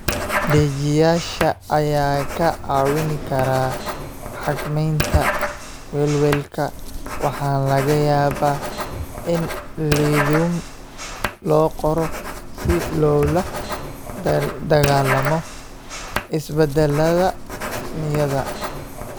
Dejiyeyaasha ayaa kaa caawin kara xakamaynta welwelka waxaana laga yaabaa in lithium loo qoro si loola dagaallamo isbeddellada niyadda.